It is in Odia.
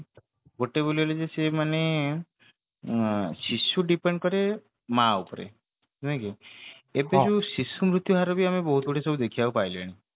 ଗୋଟେ ବୋଲି ବୋଲି ଯେ ସେ ମାନେ ଆ ଶିଶୁ depend କରେ ମା ଉପରେ ନାଇକି ଏବେ ଯୋଉ ଶିଶୁ ମୁର୍ତ୍ୟୁ ହାରବି ଆମେ ବହୁତ ଗୁଡେ ସବୁ ଦେଖିବାକୁ ପାଇଲେଣି